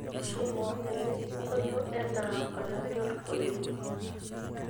tushuma elesiongolio enaa olanyor oleng